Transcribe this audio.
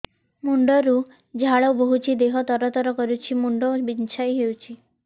ମୁଣ୍ଡ ରୁ ଝାଳ ବହୁଛି ଦେହ ତର ତର କରୁଛି ମୁଣ୍ଡ ବିଞ୍ଛାଇ ହଉଛି